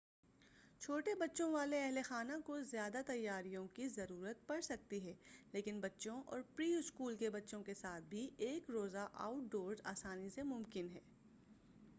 چھوٹے بچوں والے اہل خانہ کو زیادہ تیاریوں کی ضرورت پڑسکتی ہے لیکن بچوں اور پری-اسکول کے بچوں کے ساتھ بھی ایک روزہ آؤٹ ڈورس آسانی سے ممکن ہے